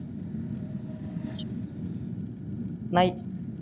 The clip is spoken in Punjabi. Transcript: ਨਾਈ